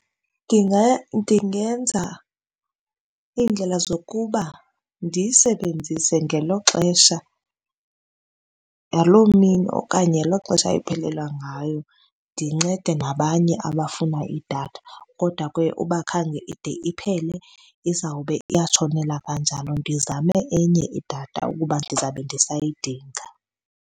Ndingaya ndingenza indlela zokuba ndiyisebenzise ngelo xesha, ngaloo mini okanye ngelo xesha iphelelwa ngayo, ndincede nabanye abafuna idatha. Kodwa ke uba khange ide iphele, izawube iyatshonela kanjalo. Ndizame enye idatha ukuba ndizawube ndisayidinga.